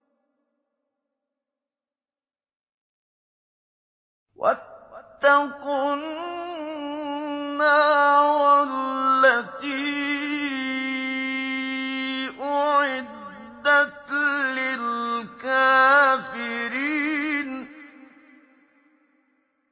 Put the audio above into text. وَاتَّقُوا النَّارَ الَّتِي أُعِدَّتْ لِلْكَافِرِينَ